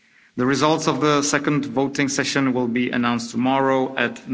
The results of the second voting session will be announced tomorrow